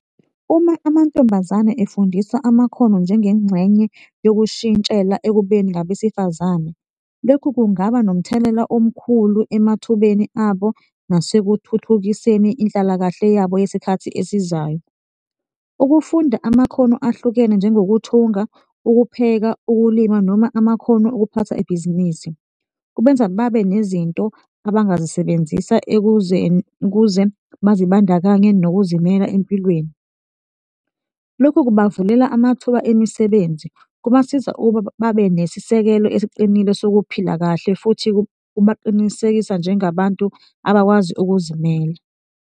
Uma amantombazane efundiswa amakhono njengengxenye yokushintshela ekubeni ngabesifazane, lokhu kungaba nomthelela omkhulu emathubeni abo nasekuthuthukiseni inhlalakahle yabo yesikhathi esizayo. Ukufunda amakhono ahlukene njengokuthunga, ukupheka, ukulima noma amakhono okuphatha ibhizinisi kubenza babe nezinto abangazisebenzisa ukuze bazibandakanye nokuzimela empilweni. Lokhu kubavulela amathuba emisebenzi kubasiza ukuba babe nesisekelo esiqinile sokuphila kahle futhi kubaqinisekisa njengabantu abakwazi ukuzimela.